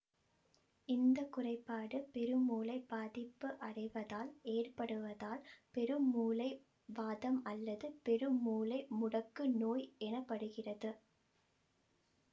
இந்த குறைபாடு பெருமூளை பாதிப்படைவதால் ஏற்படுவதால் பெருமூளை வாதம் அல்லது பெருமூளை முடக்கு நோய் எனப்படுகிறது